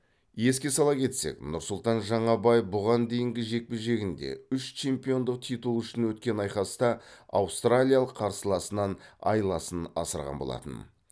еске сала кетсек нұрсұлтан жаңабаев бұған дейінгі жекпе жегінде үш чемпиондық титул үшін өткен айқаста аустралиялық қарсыласынан айласын асырған болатын